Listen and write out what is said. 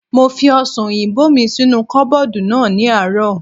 Mo fi ọ̀sàn òyìnbó mi sínú kọ́bọ̀dù náà ní àárọ̀